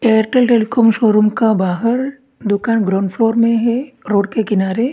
Airtel telecom showroom का बाहर दुकान ग्राउंड फ्लोर में है रोड के किनारे।